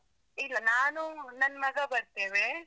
ಇಲ್ಲ. ನಾನು, ನನ್ನ್ ಮಗ ಬರ್ತೇವೆ.